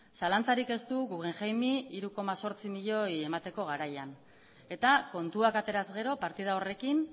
zalantzarik ez du guggenheim i hiru koma zortzi milioi emateko garaian eta kontuak ateraz gero partida horrekin